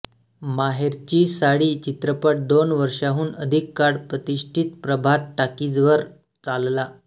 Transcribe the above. माहेरची साडी चित्रपट दोन वर्षांहून अधिक काळ प्रतिष्ठित प्रभात टॉकीजवर चालला